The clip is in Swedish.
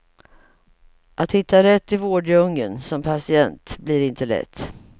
Att hitta rätt i vårddjungeln som patient blir inte lätt.